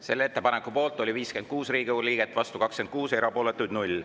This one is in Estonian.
Selle ettepaneku poolt oli 56 Riigikogu liiget, vastu 26, erapooletuid 0.